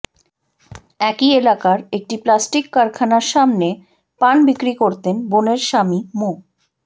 একই এলাকার একটি প্লাস্টিক কারখানার সামনে পান বিক্রি করতেন বোনের স্বামী মো